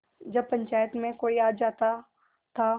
जब पंचायत में कोई आ जाता था